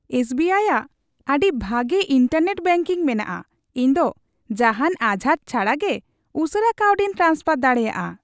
S B I ᱼᱟᱜ ᱟᱹᱰᱤ ᱵᱷᱟᱜᱮ ᱤᱱᱴᱟᱨᱱᱮᱴ ᱵᱮᱝᱠᱤᱝ ᱢᱮᱱᱟᱜᱼᱟ ᱾ ᱤᱧ ᱫᱚ ᱡᱟᱦᱟᱱ ᱟᱡᱷᱟᱴ ᱪᱷᱟᱰᱟᱜᱮ ᱩᱥᱟᱹᱨᱟ ᱠᱟᱹᱣᱰᱤᱧ ᱴᱨᱟᱱᱥᱯᱷᱟᱨ ᱫᱟᱲᱮᱭᱟᱜᱼᱟ ᱾